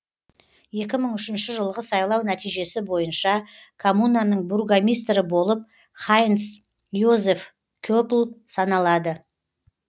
екі мың үшінші жылғы сайлау нәтижесі бойынша коммунаның бургомистрі болып хайнц йозеф кеппль саналады